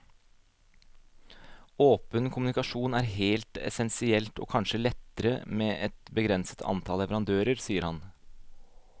Åpen kommunikasjon er helt essensielt, og kanskje lettere med et begrenset antall leverandører, sier han.